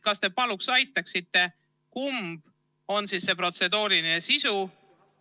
Kas te paluks selgitaksite, kuidas siis protseduuriliselt on?